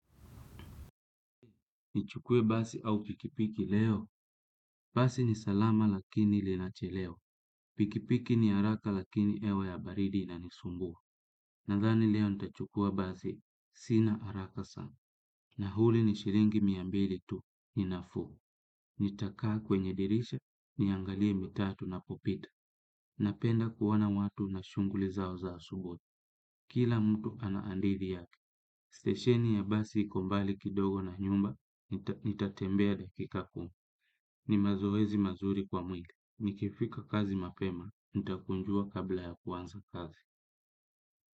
Nichukue basi au pikipiki leo. Basi ni salama lakini linachelewa. Pikipiki ni haraka lakini hewa ya baridi inanisumbua. Nadhani leo nitachukua basi. Sina haraka sana. Nauli ni shilingi mia mbili tu. Ni nafuu nitakaa kwenye dirisha. Niangalie mitaa tunapopita. Napenda kuona watu na shughuli zao za asubuhi. Kila mtu ana hadithi yake, stesheni ya basi iko mbali kidogo na nyumba, nitatembea dakika kumi, ni mazoezi mazuri kwa mwili, nikifika kazi mapema, nitakunjua kabla ya kuanza kazi.